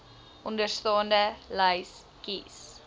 onderstaande lys kies